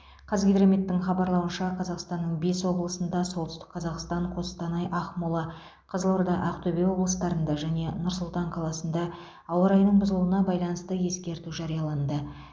қазгидрометтің хабарлауынша қазақстанның бес облысында солтүстік қазақстан қостанай ақмола қызылорда ақтөбе облыстарында және нұр сұлтан қаласында ауа райының бұзылуына байланысты ескерту жарияланды